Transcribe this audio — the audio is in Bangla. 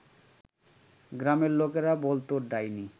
গ্রামের লোকেরা বলতো ডাইনি